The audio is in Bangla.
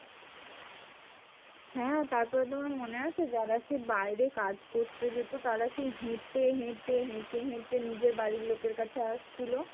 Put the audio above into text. হ্যাঁ তারপরে তোমার মনে আছে? যারা সেই বাইরে কাজ করতে যেত। তারা সেই হেঁটে হেঁটে হেঁটে হেঁটে নিজের বাড়ির লোকের কাছে আসছিল।